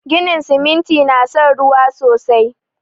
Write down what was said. Ginin siminti na son ruwa sosai